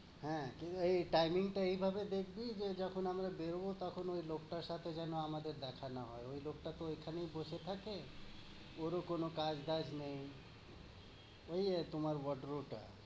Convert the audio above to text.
হ্যাঁ, timing টা এভাবে দেখবি যে যখন আমরা বের হবো তখন ঐ লোকটার সাথে যেনো আমাদের দেখা না হয়। ঐ লোকটাকে ওখানেই বসে থাকে, ওর ও কোনো কাজ-টাজ নেই, ঐ তোমার ভদ্র টা।